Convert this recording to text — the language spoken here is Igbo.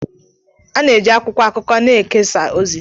Ana-eji akwụkwọ akụkọ na-ekesa ozi.